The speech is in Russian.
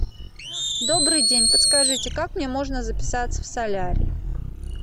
добрый день подскажите как мне можно записаться в солярий